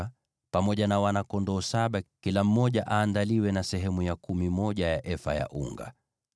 na pamoja na wana-kondoo saba kila mmoja aandaliwe na sehemu ya kumi ya efa ya unga.